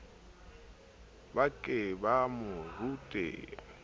ba ke ba mo rute